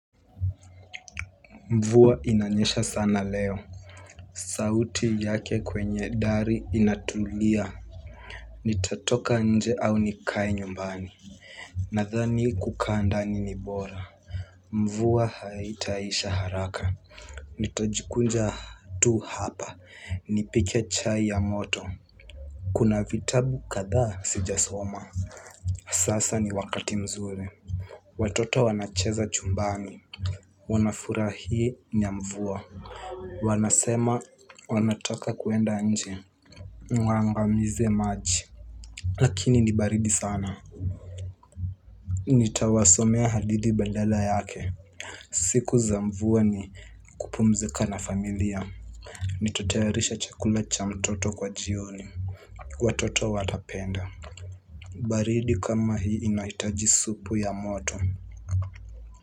Mvua inanyesha sana leo. Sauti yake kwenye dari inatulia. Nitatoka nje au nikae nyumbani. Nadhani kukaa ndani ni bora. Mvua haitaisha haraka. Nitajikunja tu hapa nipike chai ya moto. Kuna vitabu kadhaa sijasoma. Sasa ni wakati mzuri. Watoto wanacheza chumbani. Wanafurahi na mvua wanasema wanataka kuenda nje waangamize maji lakini ni baridi sana nitawasomea hadithi badala yake siku za mvua ni kupumzika na familia nitatayarisha chakula cha mtoto kwa jioni watoto watapenda baridi kama hii inahitaji supu ya moto.